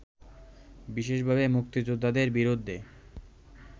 বিশেষভাবে মুক্তিযোদ্ধাদের বিরুদ্ধে